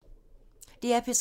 DR P3